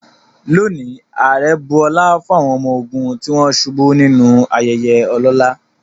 Today, the president honored fallen soldiers in a solemn ceremony.